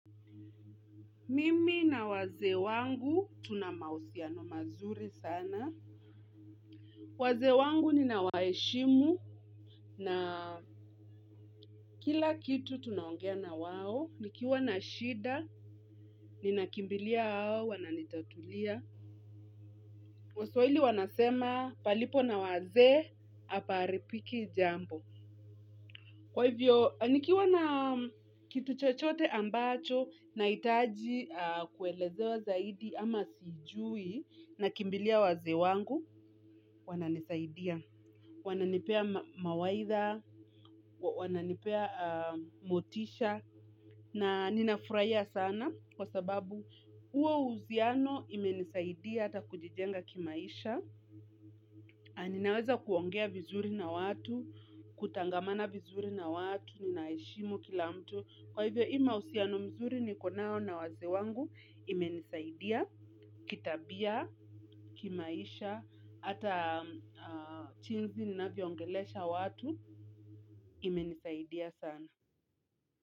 Mimi na wazee wangu tunamahusiano mazuri sana. Wazee wangu ni ninawaheshimu na kila kitu tunaongea na wao. Nikiwa na shida, ninakimbilia wananitatulia. Waswahili wanasema palipo na wazee, hapaharibiki jambo. Kwa hivyo, nikiwa na kitu chochote ambacho, nahitaji kuelezewa zaidi ama sijui. Nakimbilia wazee wangu, wananisaidia. Wananipea mawaidha, wananipea motisha, na ninafurahia sana kwa sababu huo uhusiano imenisaidia ata kujijenga kimaisha. Ninaweza kuongea vizuri na watu, kutangamana vizuri na watu, ninaheshimu kila mtu. Kwa hivyo, hii mahusiano mzuri niko nayo na wazee wangu, ime nisaidia, kitabia, kimaisha, hata jinsi ninavyongelesha watu imenisaidia sana.